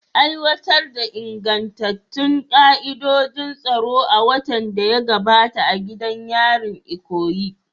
Aiwatar da ingantattun ka'idojin tsaro a watan da ya gabata a gidan yarin Ikoyi.